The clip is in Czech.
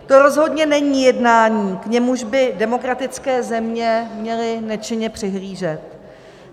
To rozhodně není jednání, k němuž by demokratické země měly nečinně přihlížet.